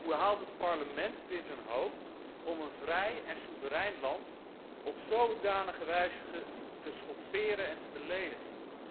Hoe haalt het Parlement het in zijn hoofd om een vrij en soeverein land op zodanige wijze te schofferen en te beledigen?